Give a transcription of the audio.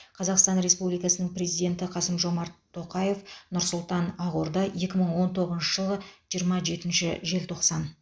қазақстан республикасының президенті қасым жомарт тоқаев нұр сұлтан ақорда екі мың он тоғызыншы жылғы жиырма жетінші желтоқсан